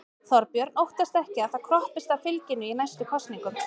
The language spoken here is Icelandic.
Þorbjörn: Óttastu ekki að það kroppist af fylginu í næstu kosningum?